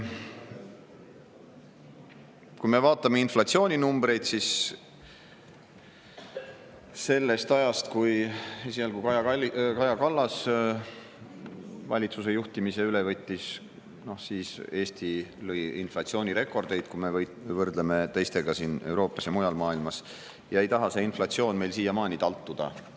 Kui me vaatame inflatsiooninumbreid, siis sellest ajast, kui esialgu Kaja Kallas valitsuse juhtimise üle võttis ja Eesti lõi inflatsioonirekordeid, kui me võrdleme teiste riikidega siin Euroopas ja mujal maailmas, ei taha see inflatsioon meil siiamaani taltuda.